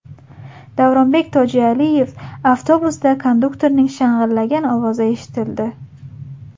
Davronbek Tojialiyev Avtobusda konduktorning shang‘illagan ovozi eshitildi.